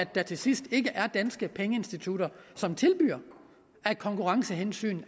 der til sidst ikke er danske pengeinstitutter som af konkurrencehensyn